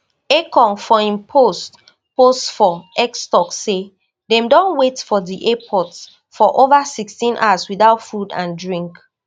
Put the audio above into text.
ekong for im post post for x tok say dem don wait for di airport for over sixteen hours without food and drink